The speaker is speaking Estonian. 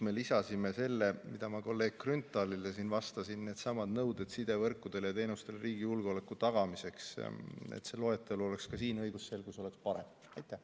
Me lisasime selle osa, mis ma kolleeg Grünthalile ütlesin: needsamad nõuded sidevõrkudele ja -teenustele riigi julgeoleku tagamiseks, et see loetelu oleks ka siin ja õigusselgus oleks parem.